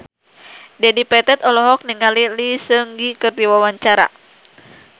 Dedi Petet olohok ningali Lee Seung Gi keur diwawancara